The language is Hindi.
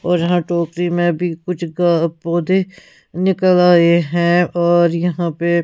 और जहां टोपी में भी कुछ ग पौधे निकल आए हैं और यहां पे--